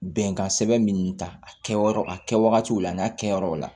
Bɛnkan sɛbɛn minnu ta a kɛyɔrɔ a kɛwagatiw la n'a kɛ yɔrɔw la